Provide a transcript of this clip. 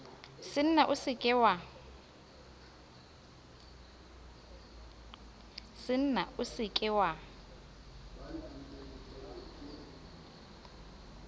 senna o se ke wa